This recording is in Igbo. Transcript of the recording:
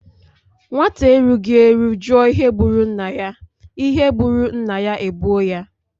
Nwata erughi eru juò ihe gburu nnaya, ihe gburu nnaya egbuò ya.